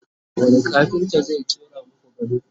wani kafinta zai ƙera maku gado?